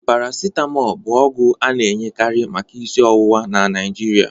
Paracitamọl bụ ọgwụ a na-enyekari maka isi ọwụwa na Nigeria